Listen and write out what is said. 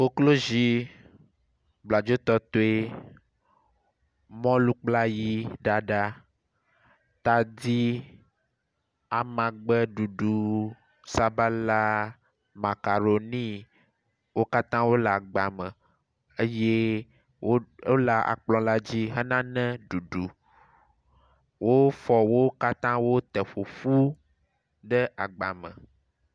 Koklozi, bladzotɔtɔe, mɔlu kple ayiɖaɖa, tadi, amagbeɖuɖu, sabala, macaroni. Wo katã wole agba me eye wole akplɔ la dzi hena ne ɖuɖu. Wofɔ wo katã wote ƒoƒu ɖe agbame.